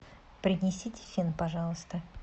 принесите фен пожалуйста